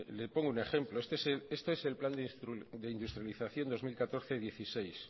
le pongo un ejemplo este es el plan de industrialización dos mil catorce dieciséis